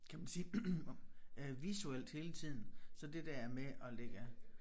Kan man sige øh visuelt hele tiden så det der med at lægge